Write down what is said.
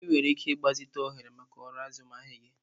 Ị nwere ike ịgbazite ohere maka ọrụ azụmahịa gị.